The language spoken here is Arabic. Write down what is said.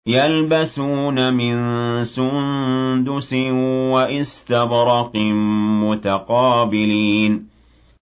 يَلْبَسُونَ مِن سُندُسٍ وَإِسْتَبْرَقٍ مُّتَقَابِلِينَ